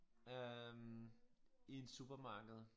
Øh i en supermarked